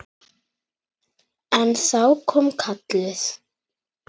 En þá kom kallið.